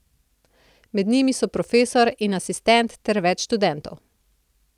Med njimi so profesor in asistent ter več študentov.